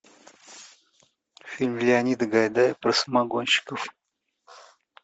фильм леонида гайдая про самогонщиков